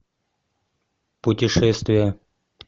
путешествия